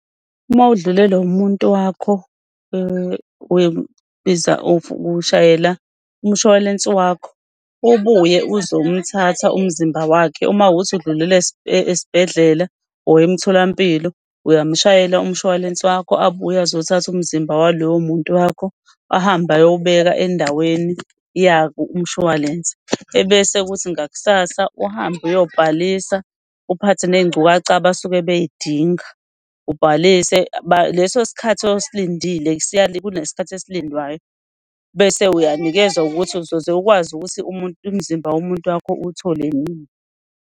Uma udlulelwe umuntu wakho, ushayela umshwalense wakho ubuye uzomthatha umzimba wakhe. Uma kuwukuthi udlulele esibhedlela or emtholampilo uyamshayela umshwalense wakho abuye azothatha umzimba waloyo muntu wakho ahambe ayowubeka endaweni yako umshwalense. Ebese ukuthi ngakusasa uhambe uyobhalisa, uphathe ney'ngcukaca abasuke bey'dinga, ubhalise. Leso sikhathi osilindile, kunesikhathi esilindwayo bese uyanikezwa ukuthi uzoze ukwazi ukuthi umuntu, umzimba womuntu wakho uwuthole nini.